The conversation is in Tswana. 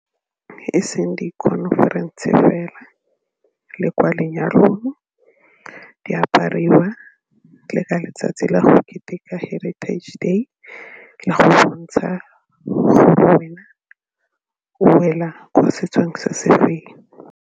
E seng di-conference fela le kwa lenyalong di apariwa le ka letsatsi la go keteka Heritage Day le go bontsha gore wena o wela ko setsong se se feng.